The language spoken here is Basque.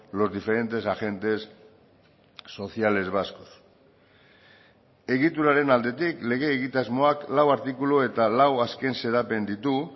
los diferentes agentes sociales vascos egituraren aldetik lege egitasmoak lau artikulu eta lau azken xedapen ditu